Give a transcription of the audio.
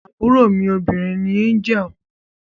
Àbúrò mí obìrin ní Angel